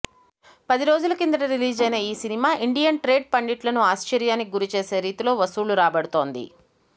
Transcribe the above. పది రోజుల కిందట రిలీజైన ఈ సినిమా ఇండియన్ ట్రేడ్ పండిట్లను ఆశ్చర్యానికి గురి చేసే రీతిలో వసూళ్లు రాబడుతోంది